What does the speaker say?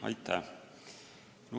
Aitäh!